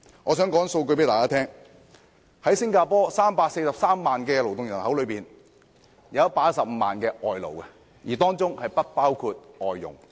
在新加坡的343萬勞動人口中，有115萬名外勞，當中不包括外傭。